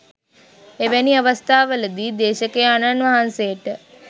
එවැනි අවස්ථාවලදී දේශකයාණන් වහන්සේට